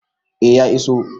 A ya iso